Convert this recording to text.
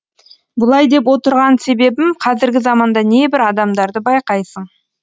бұлай деп отырған себебім қазіргі заманда небір адамдарды байқайсың